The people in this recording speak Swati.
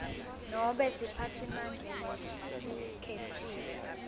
nobe siphatsimandla lesikhetsiwe